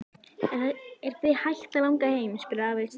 Er þig hætt að langa heim? spurði afi stríðinn.